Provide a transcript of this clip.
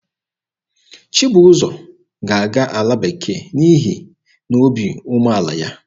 Chibụzọ ga-aga ala bekee n'ihi na obi umeala ya.